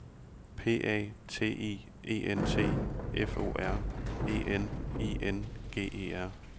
P A T I E N T F O R E N I N G E R